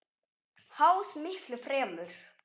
Háð miklu fremur.